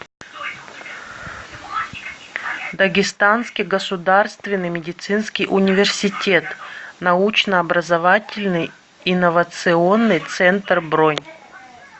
дагестанский государственный медицинский университет научно образовательный инновационный центр бронь